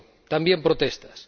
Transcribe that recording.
también protestas.